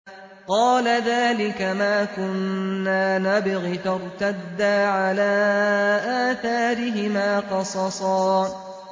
قَالَ ذَٰلِكَ مَا كُنَّا نَبْغِ ۚ فَارْتَدَّا عَلَىٰ آثَارِهِمَا قَصَصًا